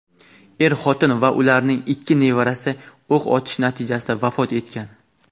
Er-xotin va ularning ikki nevarasi o‘q otish natijasida vafot etgan.